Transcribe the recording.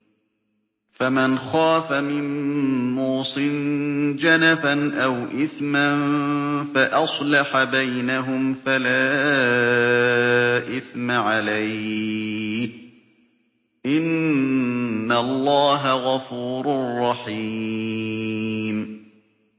فَمَنْ خَافَ مِن مُّوصٍ جَنَفًا أَوْ إِثْمًا فَأَصْلَحَ بَيْنَهُمْ فَلَا إِثْمَ عَلَيْهِ ۚ إِنَّ اللَّهَ غَفُورٌ رَّحِيمٌ